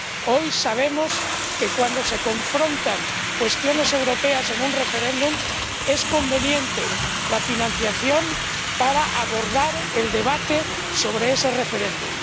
Hoy sabemos que, cuando se confrontan cuestiones europeas en un referéndum, es conveniente la financiación para abordar el debate sobre ese referéndum.